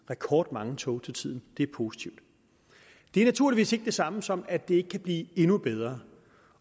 rekordmange tog til tiden det er positivt det er naturligvis ikke det samme som at det ikke kan blive endnu bedre